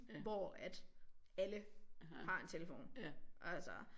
Hvor at alle har en telefon altså